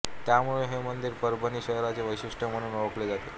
त्यामुळे हे मंदिर परभणी शहराचे वैशिष्ट्य म्हणून ओळखले जाते